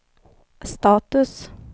status